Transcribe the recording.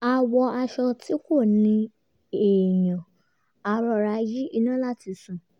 a wọ aṣọ tí kò ní èèyàn a rọra yí iná láti sùn